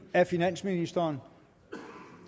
af finansministeren